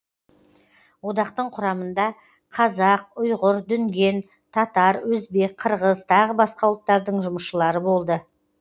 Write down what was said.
одақтың құрамында қазақ ұйғыр дүнген татар өзбек қырғыз тағы басқа ұлттардың жұмысшылары болды